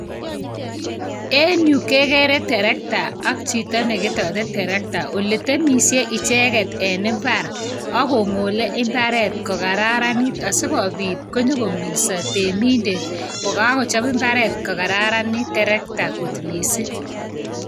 En yu kegere terektaa ak chito nekstotee terektaa. Oletemisie icheket en imbaar, akongoole imbaaret kokararanit asikobiit konyon kogolso reminder, kokochob imbaret kokararanit terekta missing.